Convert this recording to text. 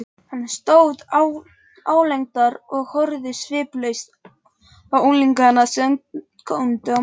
Hann stóð álengdar og horfði sviplaust á unglingana, sem góndu á móti.